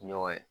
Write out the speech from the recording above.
Ɲɔgɔn ye